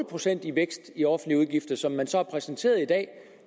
procent i vækst i offentlige udgifter som man så har præsenteret i dag